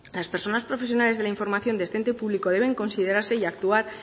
las personas profesionales de la información de este ente público deben considerarse y actuar